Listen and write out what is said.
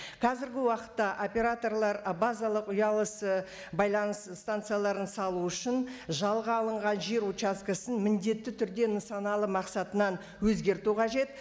қазіргі уақытта операторалар і базалық ұялы і байланыс станцияларын салу үшін жалға алынған жер участкісін міндетті түрде нысаналы мақсатынан өзгерту қажет